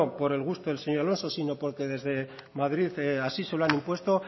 por el gusto del señor alonso sino porque desde madrid así se lo han impuesto